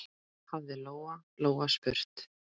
hafði Lóa-Lóa spurt.